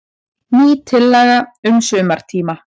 Ný tillaga um sumartíma.